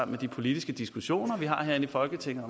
med de politiske diskussioner vi har herinde i folketinget